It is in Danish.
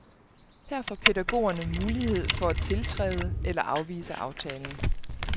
Her får pædagogerne mulighed for at tiltræde eller afvise aftalen.